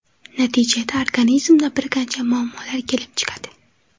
Natijada organizmda bir qancha muammolar kelib chiqadi.